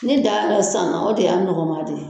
Ne darala sisan o de y'a nɔgɔma di.